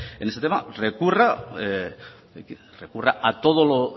recurra a todo lo